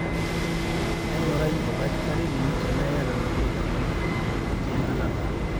engurai oldakitari lino tena iyata nabo tekuna, enkyangata dorop.